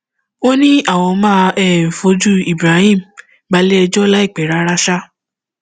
wọn ní àwọn máa um fojú ibrahim balé ẹjọ́ láìpẹ rárá um